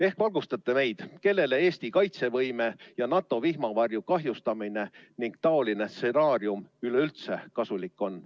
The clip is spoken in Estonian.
Äkki valgustate meid, kellele Eesti kaitsevõime ja NATO vihmavarju kahjustamine ning taoline stsenaarium üleüldse kasulik on.